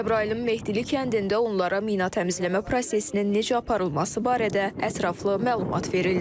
Cəbrayılın Mehdili kəndində onlara mina təmizləmə prosesinin necə aparılması barədə ətraflı məlumat verildi.